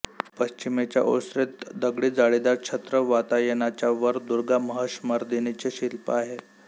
पश्चिमेच्या ओसरीत दगडी जाळीदार छद्म वातायनाच्यावर दुर्गा महिषमर्दिनीचे शिल्प आहे